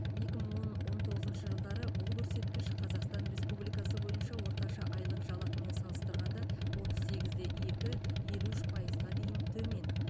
екі мың он он тоғызыншы жылдары бұл көрсеткіш қазақстан республикасы бойынша орташа айлық жалақымен салыстырғанда отыз сегіз де екі елу үш пайызға дейін төмен